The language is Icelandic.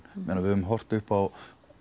meina við höfum horft upp á